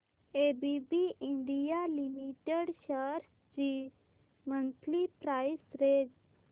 ABB India limited shares ची monthly price range